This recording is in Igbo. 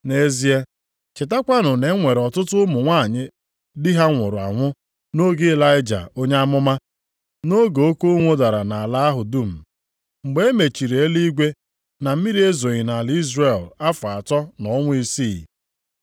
Nʼezie, chetakwanụ na e nwere ọtụtụ ụmụ nwanyị di ha nwụrụ anwụ nʼoge Ịlaịja onye amụma. Nʼoge oke ụnwụ dara nʼala ahụ dum, mgbe e mechiri eluigwe na mmiri ezoghị nʼala Izrel afọ atọ na ọnwa isii.